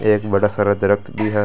इसके इस तरफ एक कुछ टायर भी पड़ा है।